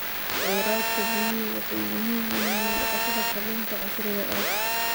Khayraadka biyuhu waxay muhiim u yihiin dhaqashada kalluunka casriga ah.